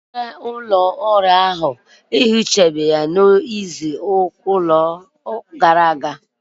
Onye na-ehicha ụlọ ọrụ anyị, ehichaghi ya n'izu gara aga.